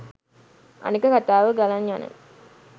අනෙක කතාව ගලන් යන